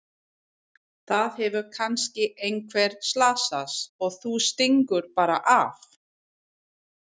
Það hefur kannski einhver slasast og þú stingur bara af!